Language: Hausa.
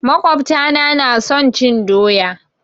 makwabta na na son cin doya.